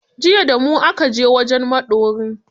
Jiya da mu aka je wajen maɗorin.